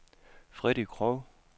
Freddy Krog